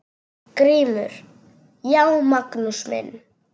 GRÍMUR: Já, Magnús minn!